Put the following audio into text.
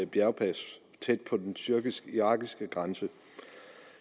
bjergpas tæt på den tyrkisk irakiske grænse